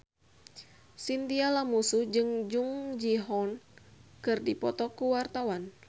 Chintya Lamusu jeung Jung Ji Hoon keur dipoto ku wartawan